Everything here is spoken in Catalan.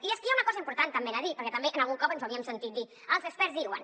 i és que hi ha una cosa important també a dir perquè també algun cop ens ho havíem sentit dir els experts diuen